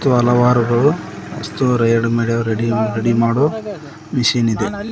ಹಲವಾರುಗಳು ವಸ್ತು ready ready ಮಾಡು ready ಮಾಡುವ ಮಷೀನ್ ಇದೆ.